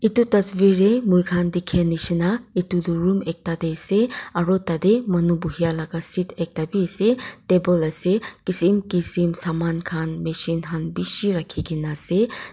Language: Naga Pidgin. itu tasvir de moi khan dikhi nishia etu tu room ekta de ase aro tata manu buhie la seat ekta bi ase table ase kisim kisim saman khan machine khan bishi rakhi kena ase.